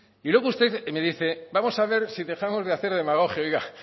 y luego usted me dice vamos a ver si dejamos de hacer demagogia oiga